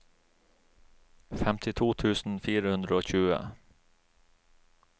femtito tusen fire hundre og tjue